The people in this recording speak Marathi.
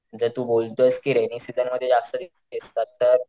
जर तू बोलतोय रेनी सिसनं मध्ये जास्त दिसतात तर,